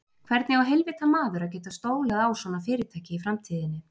Hvernig á heilvita maður að geta stólað á svona fyrirtæki í framtíðinni?